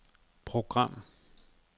program